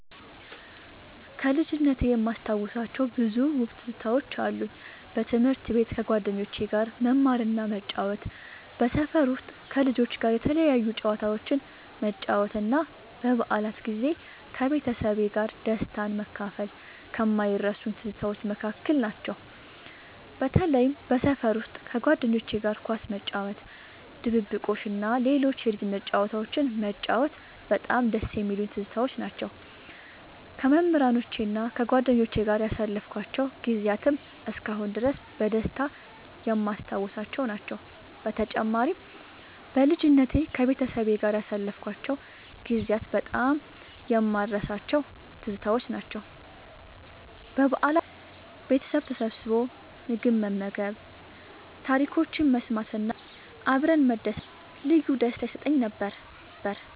ከልጅነቴ የማስታውሳቸው ብዙ ውብ ትዝታዎች አሉ። በትምህርት ቤት ከጓደኞቼ ጋር መማርና መጫወት፣ በሰፈር ውስጥ ከልጆች ጋር የተለያዩ ጨዋታዎችን መጫወት እና በበዓላት ጊዜ ከቤተሰቤ ጋር ደስታን መካፈል ከማይረሱኝ ትዝታዎች መካከል ናቸው። በተለይም በሰፈር ውስጥ ከጓደኞቼ ጋር ኳስ መጫወት፣ ድብብቆሽ እና ሌሎች የልጅነት ጨዋታዎችን መጫወት በጣም ደስ የሚሉኝ ትዝታዎች ናቸው። ከመምህራኖቼና ከጓደኞቼ ጋር ያሳለፍኳቸው ጊዜያትም እስካሁን ድረስ በደስታ የማስታውሳቸው ናቸው። በተጨማሪም፣ በልጅነቴ ከቤተሰቤ ጋር ያሳለፍኳቸው ጊዜያት በጣም የማልረሳቸው ትዝታዎች ናቸው። በበዓላት ወቅት ቤተሰብ ተሰብስቦ ምግብ መመገብ፣ ታሪኮችን መሰማት እና አብረን መደሰት ልዩ ደስታ ይሰጠኝ ነበር።